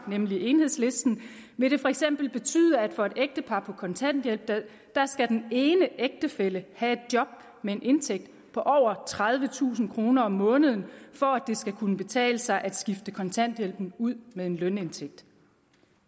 nemlig enhedslisten vil det for eksempel betyde at for et ægtepar på kontanthjælp skal den ene ægtefælle have et job med en indtægt på over tredivetusind kroner om måneden for at det skal kunne betale sig at skifte kontanthjælpen ud med en lønindtægt